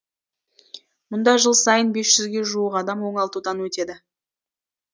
мұнда жыл сайын бес жүзге жуық адам оңалтудан өтеді